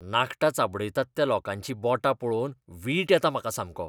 नाखटां चाबडायतात त्या लोकांची बोटां पळोवन वीट येता म्हाका सामको.